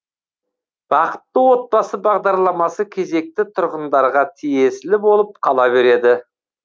бақытты отбасы бағдарламасы кезекті тұрғындарға тиесілі болып қала береді